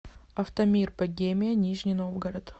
автомир богемия нижний новгород